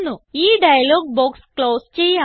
ഈ dialogue box close ചെയ്യാം